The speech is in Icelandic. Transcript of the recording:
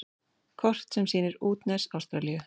Kort sem sýnir útnes Ástralíu.